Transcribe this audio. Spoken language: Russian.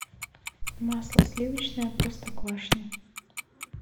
масло сливочное простоквашино